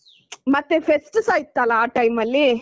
ಮತ್ತೆ fest ಟುಸ ಇತ್ತಲ್ಲಾ ಆ time ಮಲ್ಲಿ.